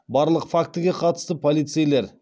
барлық фактіге қатысты полицейлер